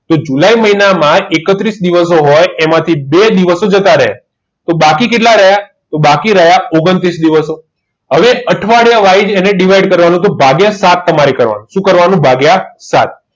તો જુલાઈ મહિના માં એકત્રીસ દિવસો હોય તો એમાં થી બે દિવસો જતાં રે તો બાકી કેટલા રયા તો બાકી રયા ઓગન્ત્રિસ દિવસો આવે અઠવાડીયા wise એને divide ભાગીય સાત સુ કારવાનું ભાગિયા સાત